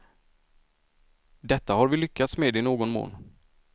Detta har vi lyckats med i någon mån.